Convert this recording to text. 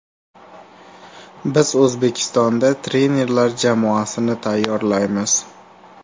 Biz O‘zbekistonda trenerlar jamoasini tayyorlaymiz.